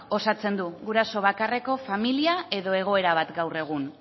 osatzen du guraso bakarreko familia edo egoera bat gaur egun